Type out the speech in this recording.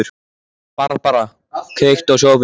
Barbára, kveiktu á sjónvarpinu.